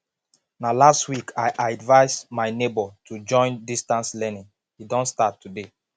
na last week i advice my nebor to join distance learning he don start today